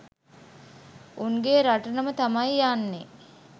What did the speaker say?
උන්ගෙ රටටම තමයි යන්නේ